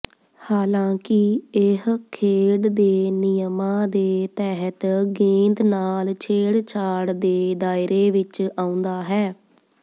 ਹਾਲਾਂਕਿ ਇਹ ਖੇਡ ਦੇ ਨਿਯਮਾਂ ਦੇ ਤਹਿਤ ਗੇਂਦ ਨਾਲ ਛੇੜਛਾੜ ਦੇ ਦਾਇਰੇ ਵਿਚ ਆਉਂਦਾ ਹੈ